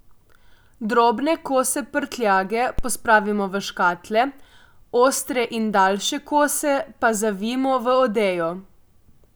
Drobne kose prtljage pospravimo v škatle, ostre in daljše kose pa zavijmo v odejo.